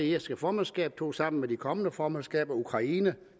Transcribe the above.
irske formandskab tog sammen med de kommende formandskaber ukraine